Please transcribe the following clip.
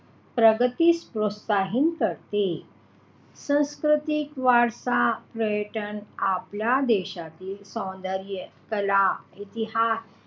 प्रगतीस प्रोत्साहन करते सांस्कृतिक वारसा पर्यटन आपल्या देशातील सौन्दर्य कला इतिहास,